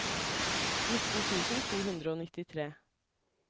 nitten tusen to hundre og nittitre